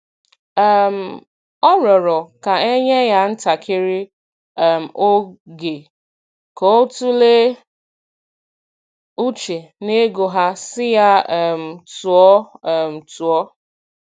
um Ọ rịọrọ ka e nye ya ntakịrị um oge ka ọ tụlee uche n'ego ha sị ya um tụọ um tụọ